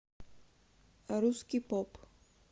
русский поп